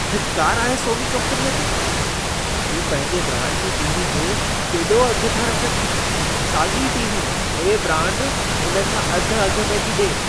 फिटकार आहे सोनी कम्पनीअ ते! हू पंहिंजे ब्रांड जी टी.वी. जो केॾो अघु था रखनि। साॻी टी.वी. ॿिई ब्रांड इन खां अधु अघ में थी ॾिए।